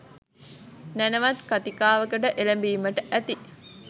නැණවත් කතිකාවකට එළඹීමට ඇති